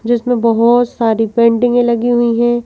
जिसमें बहोत सारी पेंटिंगें लगी हुई हैं।